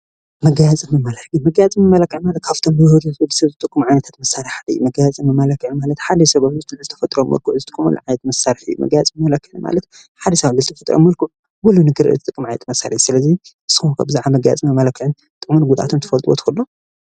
መጋየፅን መመላክዕን-መጋየፅን መመላክዕን ካብቶም ብህፁፅ ንወድሰብ ዝጠቕሙ ዓይነታት መሳርሒ ሓደ እዩ፡፡ መጋየፅን መመላክዕን ማለት ሓደ ሰብ ኣብ ልዕሊ ተፈጥሯዊ መልክዑ ዝጥቀመሉ ዓይነት መሳርሒ እዩ፡፡ መጋየፅን መመላክዕን ማለት ሓደ ሰብ ኣብ ርእሱ ተጠቒሙ ኮፍ ኢሉ ንክሪኦ ዝጠቅም መሳርሒ እዩ፡፡ ስለዚ ንስኹም ከ ስለ መጋየፅን መመላክዕን ጥቕሙን ጉድኣቱን ክትፈልጥዎ ትኽእሉ ዶ?